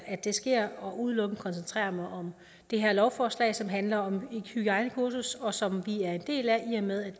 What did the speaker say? at det sker og udelukkende koncentrere mig om det her lovforslag som handler om et hygiejnekursus og som vi er en del af i og med at vi